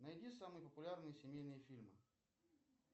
найди самые популярные семейные фильмы